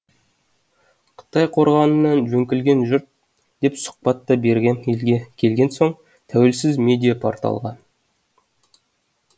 қытай қорғанынан жөңкілген жұрт деп сұхбат та бергем елге келген соң тәуелсіз медиа порталға